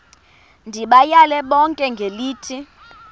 ndibayale bonke ngelithi